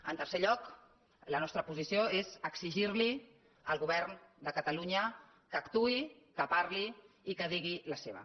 en tercer lloc la nostra posició és exigir al govern de catalunya que actuï que parli i que hi digui la seva